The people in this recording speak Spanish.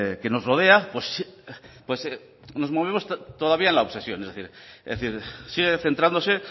que nos rodea pues nos movemos todavía en la obsesión es decir sigue centrándose